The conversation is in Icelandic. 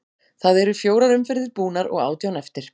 Það eru fjórar umferðir búnar og átján eftir.